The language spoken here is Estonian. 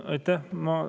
Aitäh!